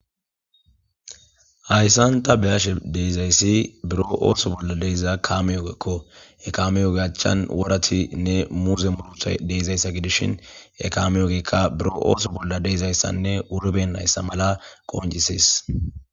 hayssanta beyashe deezayssi buro ooso bolla deeza kaameyogeekko e kameyogeachchan woratinne murze murutha deizayssa gidishin e kameyogekka buro ooso bolla deezayssanne uribe nayssa mala qonjisis